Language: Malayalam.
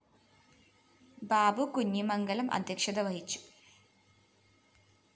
ബാബു കുഞ്ഞിമംഗലം അധ്യക്ഷത വഹിച്ചു